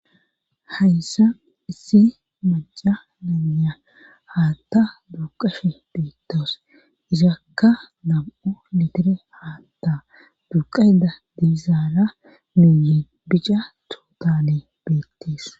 Hayssa issi maca nanya haatta duuqashe beettos isakka nam'o litire haatta duuqa ida diizaara muuyi bica tootalee beettees.